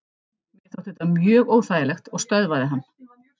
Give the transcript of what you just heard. Mér þótti þetta mjög óþægilegt og stöðvaði hann.